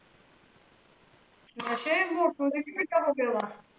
ਨਸ਼ੇ ਮੋਟੂ ਦੇਖੀ ਕਿੱਡਾ ਹੋ ਗਿਆ ਵਾ?